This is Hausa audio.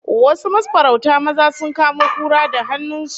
Wasu mafarauta maza sun kamo kura da hannun su